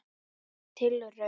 Merk tilraun